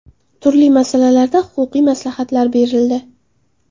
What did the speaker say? Turli masalalarda huquqiy maslahatlar berildi.